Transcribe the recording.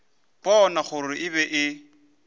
bona gore e be e